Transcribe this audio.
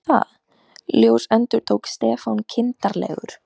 Þú meinar ÞAÐ ljós endurtók Stefán kindarlegur.